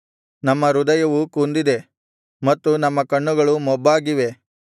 ನಮ್ಮ ಹೃದಯವು ಕುಂದಿದೆ ಮತ್ತು ನಮ್ಮ ಕಣ್ಣುಗಳು ಮೊಬ್ಬಾಗಿವೆ